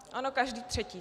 Ano, každý třetí.